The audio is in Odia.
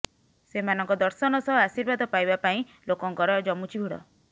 ସେମାନଙ୍କ ଦର୍ଶନ ସହ ଆଶୀର୍ବାଦ ପାଇବା ପାଇଁ ଲୋକଙ୍କର ଜମୁଛି ଭିଡ